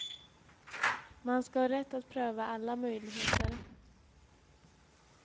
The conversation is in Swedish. Man ska ha rätt att pröva alla möjligheter.